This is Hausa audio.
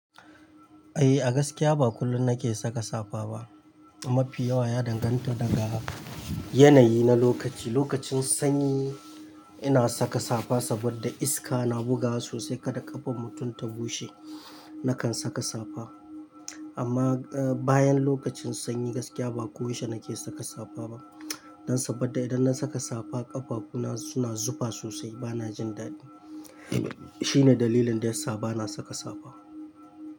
Eh, a gaskiya ba kullum nake saka safa ba. Mafi yawa ya danganta daga yanayi na lokaci. Lokacin sanyi ina saka safa saboda iska na bugawa sosai kada ƙafan mutum ta bushe nakan saka safa. Amma, eh, bayan lokacin sanyi gaskiya ba koyaushe nake saka safa ba. Dan saboda idan na saka safa ƙafafuna suna zufa sosai bana jin daɗi. Shine dalilin da yasa bana saka safa.